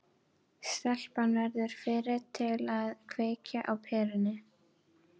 Stelpan verður fyrri til að kveikja á perunni.